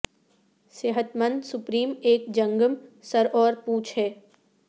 صحت مند سپرم ایک جنگم سر اور پونچھ ہے